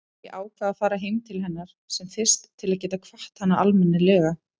Ég ákvað að fara heim til hennar sem fyrst til að geta kvatt hana almennilega.